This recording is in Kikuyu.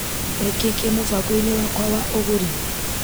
Nĩkĩĩ kĩ mũbango-inĩ wakwa wa ũgũri .